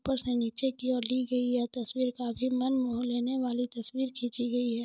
ऊपर से नीचे की और ली गई यह तस्वीर काफी मन मोह लेने वाली तस्वीर खींची गई है।